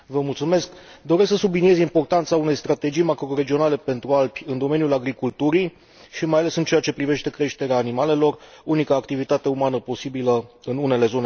Doresc să subliniez importanța unei strategii macroregionale pentru Alpi în domeniul agriculturii și mai ales în ceea ce privește creșterea animalelor, unica activitate umană posibilă în unele zone de munte.